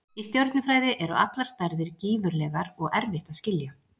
Í stjörnufræði eru allar stærðir gífurlegar og erfitt að skilja.